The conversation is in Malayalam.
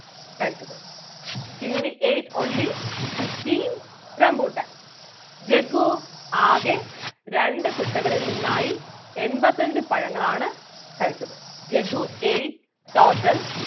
കഴിച്ചത് Kingini ate only fifteen rambuttan Jaggu ആകെ രണ്ടു കുട്ടകളിൽ നിന്നായി എൺപത്തഞ്ച് പഴങ്ങളാണ് കഴിച്ചത് ജഗ്ഗു ate total